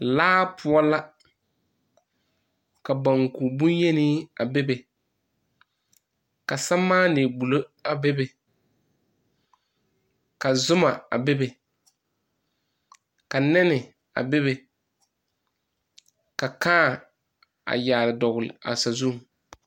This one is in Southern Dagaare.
Laa poʊ la ka banku boyeni a bebe, ka samaane gbulo a bebe, ka zuma a bebe, ka neni a bebe, ka kaã a yaare dogle a sazuŋ